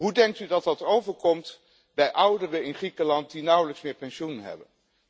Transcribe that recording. Hoe denkt u dat dat overkomt bij ouderen in Griekenland die nauwelijks pensioen meer hebben?